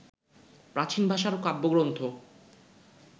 প্রাচীন ভাষার কাব্যগ্রন্থ